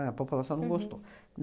A população não gostou.